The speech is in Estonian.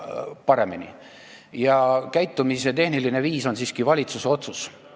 Ja sellise käitumise tehniline viis on siiski valitsuse otsus.